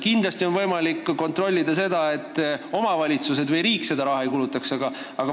Kindlasti on võimalik kontrollida seda, et omavalitsused või riik seda raha ei kulutaks.